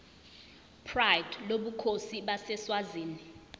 pride lobukhosi baseswazini